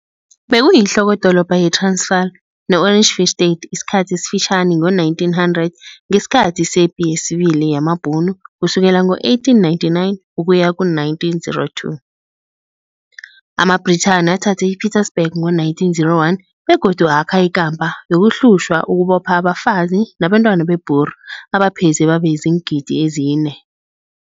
Bekuyinhlokodolobha ye-Transvaal ne-Orange Free State isikhathi esifitjhani ngo-1900 ngesikhathi sePi yesiBili yamaBhunu kusukela ngo-1899 ukuya ku-1902. AmaBrithani athatha i-Pietersburg ngo-1901 begodu akha ikampa yokuhlushwa ukubopha abafazi nabantwana be-Boer abapheze babezi-4,000.